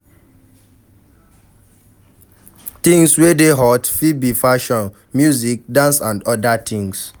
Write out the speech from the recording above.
Things wey dey hot fit be fashion, music, dance and oda things